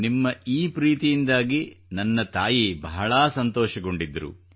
ನಿಮ್ಮ ಈ ಪ್ರೀತಿಯಿಂದಾಗಿ ನನ್ನ ತಾಯಿ ಬಹಳ ಸಂತೋಷಗೊಂಡಿದ್ದರು